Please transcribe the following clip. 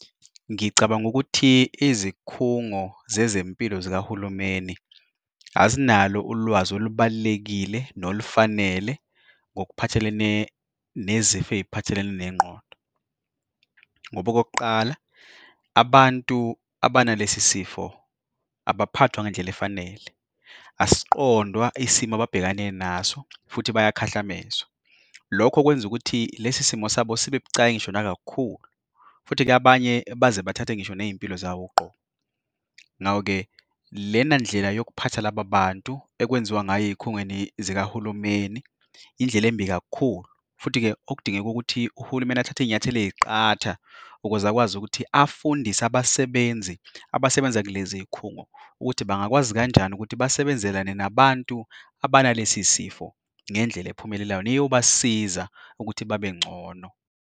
Ngicabanga ukuthi izikhungo zezempilo zikahulumeni azinalo ulwazi olubalulekile nolufanele ngokuphathelene nezifo eziphathelene nengqodo, ngoba okokuqala abantu abanalesi sifo abaphathwa ngendlela efanele asiqondwa isimo ababhekane, naso futhi bayakhahlamezwa. Lokho kwenza ukuthi lesi simo sabo sibe bucayi ngisho nakakhulu, futhi-ke abanye baze bathathe ngisho nezimpilo zabo uqobo. Ngakho-ke lena ndlela yokuphatha laba bantu, ekwenziwa ngayo ezikhungweni zikahulumeni. Indlela embi kakhulu, futhi-ke okudingeka ukuthi uhulumeni athathe izinyathelo eziqatha ukuze akwazi ukuthi afundise abasebenzi abasebenza kulezi zikhungo, ukuthi bangakwazi kanjani ukuthi basebenze kanye nabantu abanalesi sifo ngendlela ephumelelayo neyobasiza ukuthi babe ngcono.